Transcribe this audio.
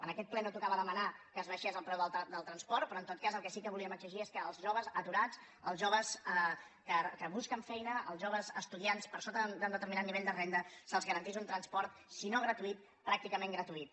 en aquest ple no tocava demanar que s’abaixés el preu del transport però en tot cas el que sí que volíem exigir és que als joves aturats als joves que busquen feina als joves estudiants per sota d’un determinat nivell de renda se’ls garantís un transport si no gratuït pràcticament gratuït